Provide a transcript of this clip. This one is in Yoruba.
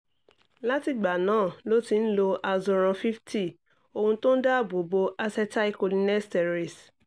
látìgbà náà ló ti ń lo azoran fifty ohun tó ń dáàbò bo acetylcholinesterase